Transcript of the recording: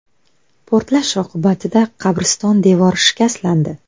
Portlash oqibatida qabriston devori shikastlandi.